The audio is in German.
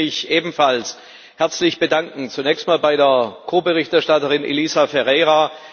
Ich möchte mich ebenfalls herzlich bedanken zunächst einmal bei der Ko Berichterstatterin Elisa Ferreira.